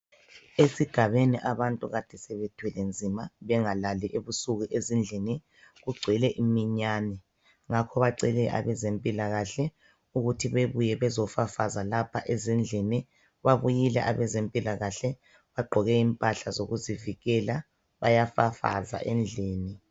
Esigabeni abantu kade sebethwele nzima ebusuku bengalali ezindlini kungcwele iminyane ngakho bacele abezempila kahle ukuthi bebuye bezofafaza laphaezindlini babuyile abaze mpilakahle bagqoke impahla zokuzivikela bayafafaza endlini.